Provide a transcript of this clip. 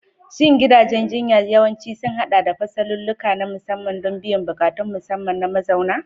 Shin gidajen jinya yawanci sun haɗa da fasalulluka na musamman don biyan buƙatun musamman na mazauna?